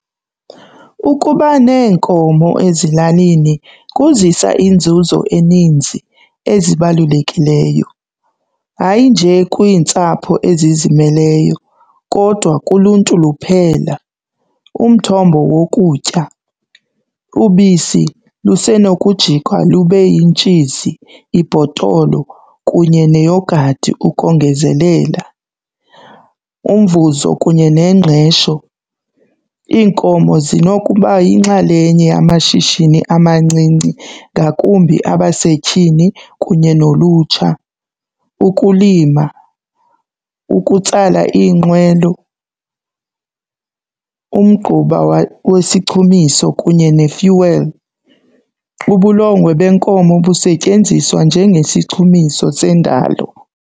Ukuba neenkomo ezilalini kuzisa iinzuzo eninzi ezibalulekileyo, hayi nje kwiintsapho ezizimeleyo kodwa kuluntu luphela. Umthombo wokutya, ubisi lusenokujikwa lube yintshizi ibhotolo kunye neyogathi ukongezelela. Umvuzo kunye nengqesho, iinkomo zinokuba yinxalenye yamashishini amancinci ngakumbi abasetyhini kunye nolutsha. Ukulima, ukutsala iinqwelo, umgquba wesichumiso kunye ne-fuel. Ubulongwe benkomo busetyenziswa njengesichumiso sendalo.